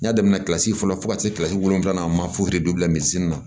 N y'a daminɛ kilasi fɔlɔ fo ka se kilasi wolonwula a ma fo bila misi la